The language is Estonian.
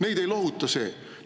Neid ei lohuta see!